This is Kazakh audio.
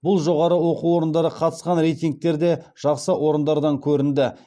бұл жоғары оқу орындары қатысқан рейтингтерде жақсы орындардан көрінді